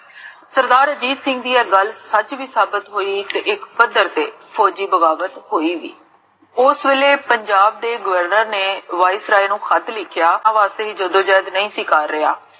ਸਰਦਾਰ ਅਜੀਤ ਸਿੰਘ ਜੀ ਦੀ ਇਹ ਗਲ ਅੱਜ ਵੀ ਸਾਬਤ ਹੋਈ ਇਕ ਇਕ ਫਾਸਰ ਤੇ ਫੋਜ੍ਜੀ ਬਗਾਵਤ ਹੋਈ ਓਸ ਵੇਲੇ ਪੰਜਾਬ ਦੇ